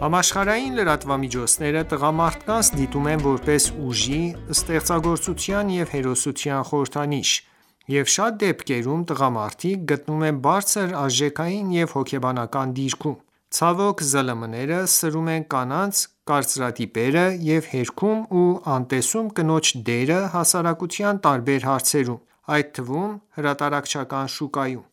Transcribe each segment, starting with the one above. Համաշխարհային լրատվամիջոցները տղամարդկանց դիտարկում են որպես ուժի, ստեղծագործության և հերոսության խորհրդանիշ և շատ դեպքերում տղամարդիկ գտնվում են բարձր արժեքային և հոգեբանական դիրքում: Ցավոք, ԶԼՄ-ները սրում են կանանց կարծրատիպերը և հերքում ու անտեսում կնոջ դերը հասարակության տարբեր հարցերում, այդ թվում՝ հրատարակչական շուկայում: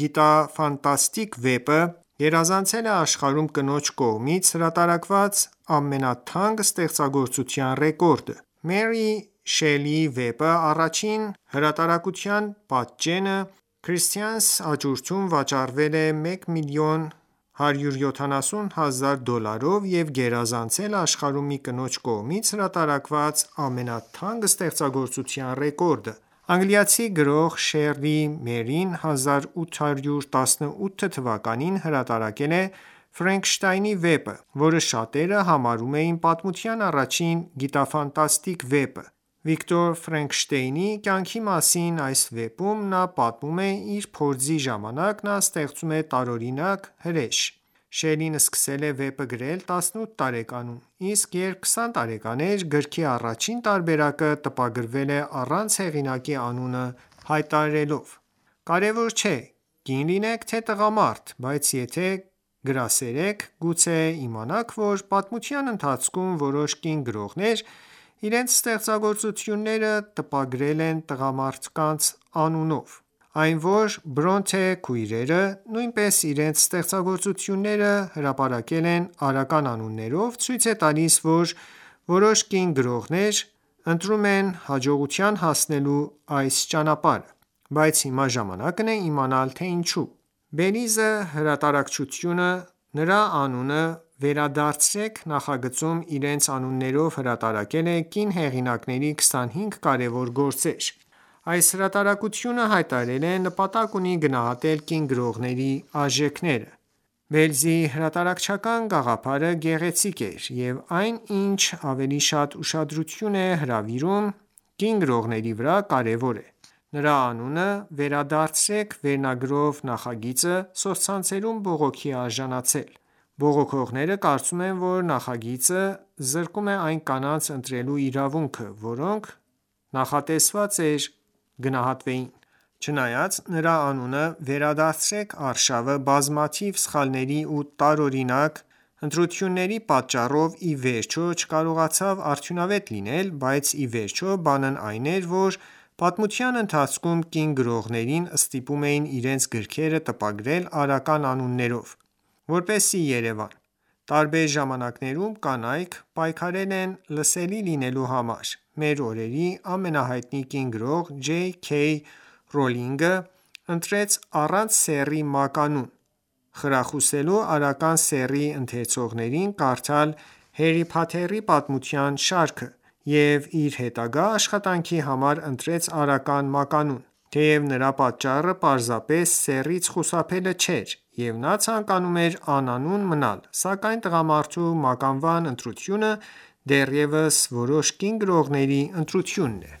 գիտաֆանտաստիկ վեպը գերազանցել է աշխարհում կնոջ կողմից հրատարակված ամենաթանկ ստեղծագործության ռեկորդը։ Մերի Ուոլսթոնքրաֆտ Շելլիի վեպի առաջին հրատարակության պատճենը Christie's աճուրդում վաճառվել է 1,17 մլն դոլարով և գերազանցել աշխարհում մի կնոջ կողմից հրատարակված ամենաթանկ ստեղծագործության ռեկորդը։ Անգլիացի գրող Մերի Շելլին 1818 թվականին հրատարակել է Ֆրանկենշտեյնի վեպը, որը շատերը համարում են պատմության առաջին գիտաֆանտաստիկ վեպը։ Վիկտոր կյանքի մասին այս վեպում նա պատմում է, որ փորձի ժամանակ նա ստեղծում է տարօրինակ հրեշ։ Շելլին սկսել է վեպը գրել 18 տարեկանում, իսկ երբ 20 տարեկան էր գրքի առաջին տարբերակը տպագրվել է առանց հեղինակի անունը հայտարարելով։ Կարևոր չէ՝ կին լինեք, թե տղամարդ, բայց եթե գրքասեր եք, գուցե իմանաք, որ պատմության ընթացքում որոշ կին գրողներ իրենց ստեղծագործությունները տպագրել են տղամարդի կեղծանունով։ Այն, որ Բրոնտե քույրերը նույնպես իրենց ստեղծագործությունները հրապարակել են արական անուններով, ցույց է տալիս, որ որոշ կին գրողներ ընտրում են հաջողության հասնելու այս ճանապարհը: Բայց հիմա ժամանակն է իմանալ, թե ինչու՞: Belize հրատարակչությունը՝ «Նրա անունը վերադարձրեք» նախագծում, իրենց անուններով հրատարակել է կին հեղինակների 25 կարևոր գործեր։ Այս հրատարակությունը հայտարարել է նպատակ ունի գնահատել կին գրողների արժանիքները։ Belize հրատարակչության գաղափարը գեղեցիկ էր, և այն, ինչ ավելի շատ ուշադրություն է հրավիրում կին գրողների վրա կարևոր է: «Նրա անունը վերադարձրեք» վերնագրով նախագիծը սոցցանցերում բողոքի է արժանացել։ Բողոքողները կարծում են, որ նախագիծը զրկում է այն կանանց ընտրելու իրավունքը, որոնք նախատեսված էր գնահատվեին: Չնայած «Նրա անունը վերադարձրեք» արշավը բազմաթիվ սխալների ու տարօրինակ ընտրությունների պատճառով, ի վերջո չկարողացավ արդյունավետ լինել, բայց ի վերջո բանն այն էր, որ պատմության ընթացքում կին գրողներին ստիպում էին իրենց գրքերը տպագրել արական անուններով, որպեսզի երևան։ Տարբեր ժամանակներում կանայք պայքարել են լսելի լինելու համար: Մեր օրերի ամենահայտնի կին գրող Ջեյ Քեյ Ռոուլինգը, ընտրեց առանց սեռի մականուն՝ խրախուսելու արական սեռի ընթերցողներին կարդալ Հարի Փոթերի պատմության շարքը, և իր հետագա աշխատանքի համար ընտրեց արական մականուն: Թեև նրա պատճառը պարզապես սեռից խուսափելը չէր, և նա ցանկանում էր անանուն մնալ, սակայն տղամարդու մականվան ընտրությունը դեռևս որոշ կին գրողների ընտրությունն է: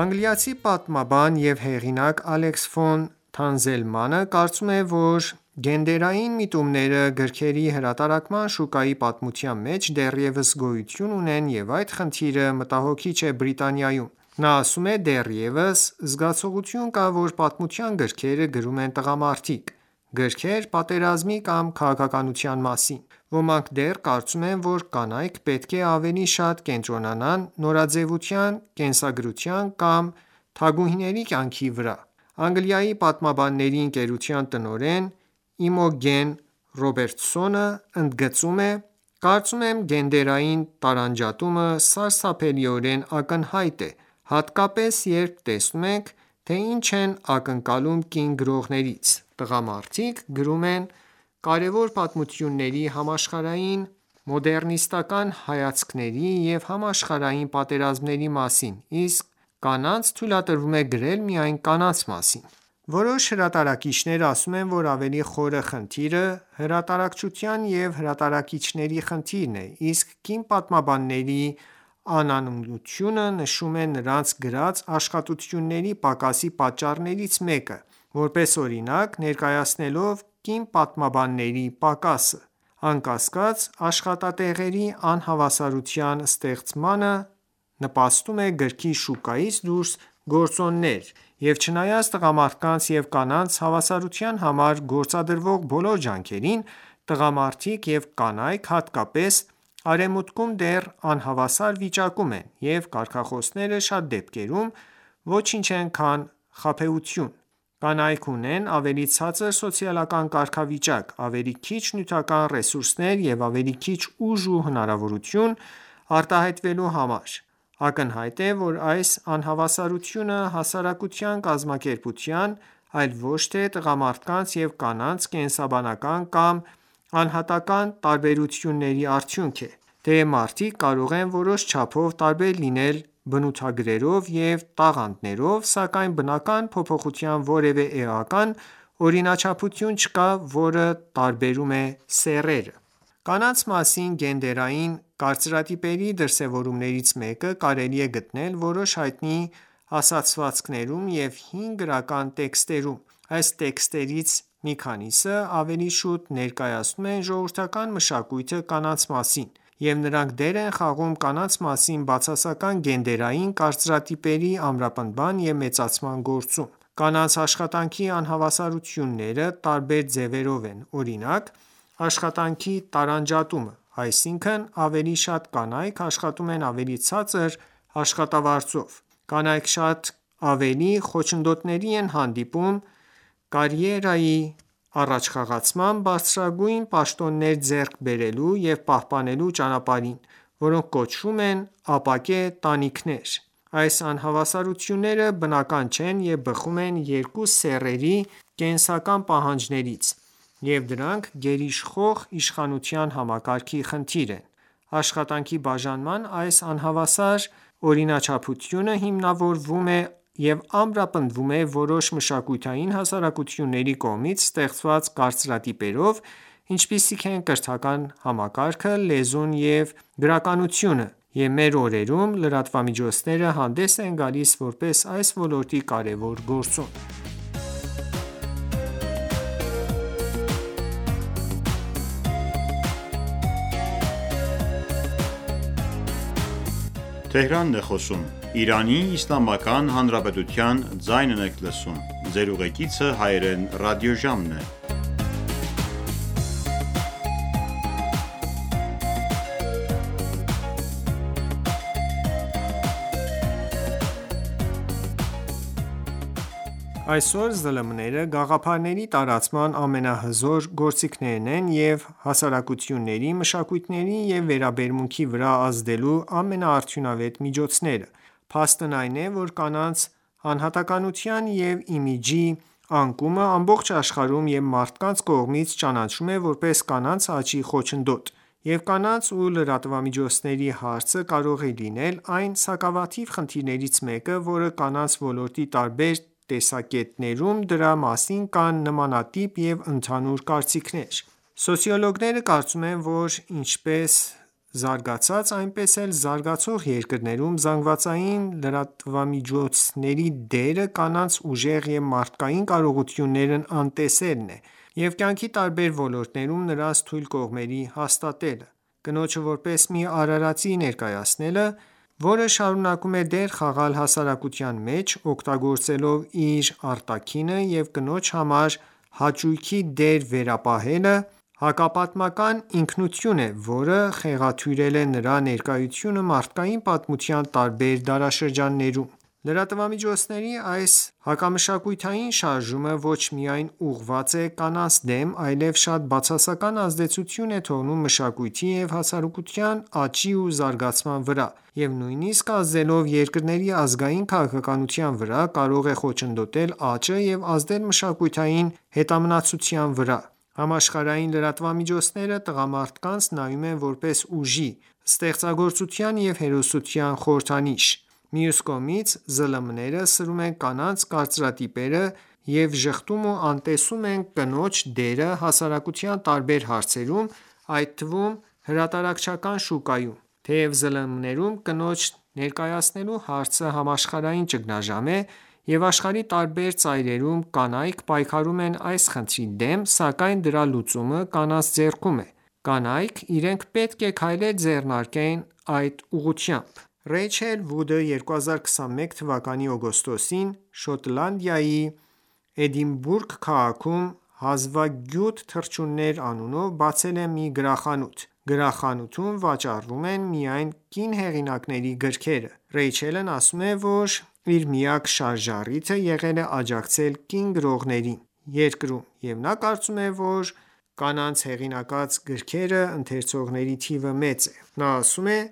Անգլիացի պատմաբան և հեղինակ Ալեքս ֆոն Թանզելմանը կարծում է, որ գենդերային միտումները գրքերի հրատարակման շուկայի պատմության մեջ դեռևս գոյություն ունեն և այդ խնդիրը մտահոգիչ է Բրիտանիայում: Նա ասում է․«Դեռևս զգացողություն կա, որ պատմության գրքերը գրում են տղամարդիկ, գրքեր՝ պատերազմի կամ քաղաքականության մասին: Ոմանք դեռ կարծում են, որ կանայք պետք է ավելի շատ կենտրոնանան նորաձեւության, կենսագրության կամ թագուհիների կյանքի վրա»։ Անգլիայի պատմաբանների ընկերության տնօրեն Իմոգեն Ռոբերտսոնը ընդգծում է.«Կարծում եմ՝ գենդերային տարանջատումը սարսափելիորեն ակնհայտ է, հատկապես երբ տեսնում ենք, թե ինչ են ակնկալում կին գրողներից, տղամարդիկ գրում են կարևոր պատմությունների, համաշխարհային մոդեռնիստական ​​հայացքների և համաշխարհային պատերազմների մասին, իսկ կանանց թույլատրվում է գրել միայն կանանց մասին»: Որոշ հրատարակիչներ ասում են, որ ավելի խորը խնդիրը հրատարակչության և հրատարակիչների խնդիրն է, իսկ կին պատմաբանների անանունությունը նշում են նրանց գրած աշխատությունների պակասի պատճառներից մեկը՝ որպես օրինակ ներկայացնելով՝ կին պատմաբանների պակասը։ Անկասկած, աշխատատեղերի անհավասարության ստեղծմանը նպաստում են գրքի շուկայից դուրս գործոններ, և չնայած տղամարդկանց և կանանց հավասարության համար գործադրվող բոլոր ջանքերին, տղամարդիկ և կանայք, հատկապես Արևմուտքում, դեռ անհավասար վիճակում են, և կարգախոսները շատ դեպքերում ոչինչ են քան խաբեբայություն։ Կանայք ունեն ավելի ցածր սոցիալական կարգավիճակ, ավելի քիչ նյութական ռեսուրսներ և ավելի քիչ ուժ ու հնարավորություն՝ արտահայտվելու համար: Ակնհայտ է, որ այս անհավասարությունը հասարակության կազմակերպվածության ,այլ ոչ թե տղամարդկանց և կանանց կենսաբանական կամ անհատական ​​տարբերությունների արդյունք է: Թեև մարդիկ կարող են որոշ չափով տարբեր լինել բնութագրերով և տաղանդներով, սակայն բնական փոփոխության որևէ էական օրինաչափություն չկա, որը տարբերում է սեռերը: Կանանց մասին գենդերային կարծրատիպերի դրսևորումներից մեկը կարելի է գտնել որոշ հայտնի ասացվածքներում և հին գրական տեքստերում: Այս տեքստերից մի քանիսը ավելի շուտ ներկայացնում են ժողովրդական մշակույթը կանանց մասին, և նրանք դեր են խաղում կանանց մասին բացասական գենդերային կարծրատիպերի ամրապնդման և մեծացման գործում: Կանանց աշխատանքի անհավասարությունները տարբեր ձևերով են, օրինակ՝ աշխատանքի տարանջատումը, այսինքն՝ ավելի շատ կանայք աշխատում են ավելի ցածր աշխատավարձով: Կանայք շատ ավելի խոչընդոտների են հանդիպում կարիերայի առաջխաղացման, բարձրագույն պաշտոններ ձեռք բերելու և պահպանելու ճանապարհին, որոնք կոչվում են ապակե տանիքներ: Այս անհավասարությունները բնական չեն և բխում են երկու սեռերի կենսաբանական պահանջներից, և դրանք գերիշխող իշխանության համակարգի խնդիր են։ Աշխատանքի բաժանման այս անհավասար օրինաչափությունը հիմնավորվում և ամրապնդվում է որոշ մշակութային հաստատությունների կողմից ստեղծված կարծրատիպերով, ինչպիսիք են կրթական համակարգը, լեզուն և գրականությունը, և մեր օրերում լրատվամիջոցները հանդես են գալիս որպես այս ոլորտի կարևոր գործոն: Այսօր ԶԼՄ-ները գաղափարների տարածման ամենահզոր գործիքներն են և հասարակությունների, մշակույթների և վերաբերմունքի վրա ազդելու ամենաարդյունավետ միջոցները: Փաստն այն է, որ կանանց անհատականության և իմիջի անկումը ամբողջ աշխարհում և մարդկանց կողմից ճանաչվում է որպես կանանց աճի խոչընդոտ, և «կանանց և լրատվամիջոցների» հարցը կարող է լինել այն սակավաթիվ խնդիրներից մեկը, որը կանանց ոլորտի տարբեր տեսակետներում, դրա մասին կան նմանատիպ ու ընդհանուր կարծիքներ։ Սոցիոլոգները կարծում են, որ ինչպես զարգացած, այնպես էլ զարգացող երկրներում զանգվածային լրատվության միջոցների դերը կանանց ուժեղ և մարդկային կարողություններն անտեսելն է և կյանքի տարբեր ոլորտներում նրանց թույլ կողմերի հաստատելը։ Կնոջը որպես մի արարածի ներկայացնելը, որը շարունակում է դեր խաղալ հասարակության մեջ՝ օգտագործելով իր արտաքինը և կնոջ համար «հաճույքի» դեր վերապահելը հակապատմական ինքնություն է, որը խեղաթյուրել է նրա ներկայությունը մարդկային պատմության տարբեր դարաշրջաններում: Լրատվամիջոցների այս հակամշակութային շարժումը ոչ միայն ուղղված է կանանց դեմ, այլև շատ բացասական ազդեցություն է թողնում մշակույթի և հասարակությունների աճի ու զարգացման վրա, և նույնիսկ ազդելով երկրների ազգային քաղաքականության վրա կարող է խոչընդոտել աճը և ազդել մշակութային հետամնացության վրա: Համաշխարհային լրատվամիջոցները տղամարդկանց նայում են որպես ուժի, ստեղծագործության և հերոսության խորհրդանիշ։ Մյուս կողմից՝ ԶԼՄ-ները սրում են կանանց կարծրատիպերը և ժխտում ու անտեսում են կնոջ դերը հասարակության տարբեր հարցերում՝ այդ թվում հրատարակչական շուկայում։ Թեև ԶԼՄ-ներում կնոջ ներկայացնելու հարցը համաշխարհային ճգնաժամ է, և աշխարհի տարբեր ծայրերում կանայք պայքարում են այս խնդրի դեմ, սակայն դրա լուծումը կանանց ձեռքում է։ Կանայք իրենք պետք է քայլեր ձեռնարկեն այդ ուղղությամբ: Ռեյչել Վուդը 2021 թ․-ի օգոստոսին Շոտլանդիայի Էդինբուրգ քաղաքում «Հազվագյուտ թռչուններ» անունով բացել է մի գրախանութ։ Գրախանութում վաճառվում են միայն կին հեղինակների գրքերը։ Ռեյչելն ասում է, որ իր միակ շարժառիթը եղել է աջակցել կին գրողներին երկրում, և նա կարծում է, որ կանանվ հեղինակած գրքեր ընթերցողների թիվը մեծ է: Նա ասում է․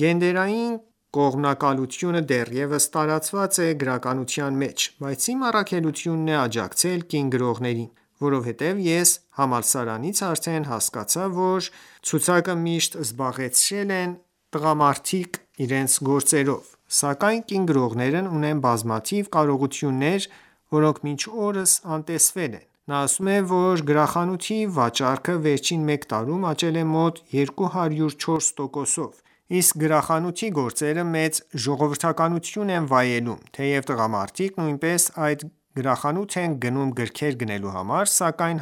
«Գենդերային կողմնակալությունը դեռևս տարածված է գրականության մեջ։ Բայց իմ առաքելությունն է աջակցել կին գրողներին. Որովհետև ես համալսարանից արդեն հասկացա, որ բեսթսելերների ցուցակը միշտ զբաղեցրել են տղամարդ գրողները։ Սակայն կին գրողներն ունեն բազմաթիվ կարողություններ, որոնք մինչ օրս անտեսվել են»: Նա ասում է, որ գրախանութի վաճառքը վերջին մեկ տարում աճել է մոտ 204 տոկոսով, իսկ գրախանութի գրքերը մեծ ժողովրդականություն են վայելել: Թեև տղամարդիկ նույնպես այդ գրախանութ են գնում գրքեր գնելու համար, սակայն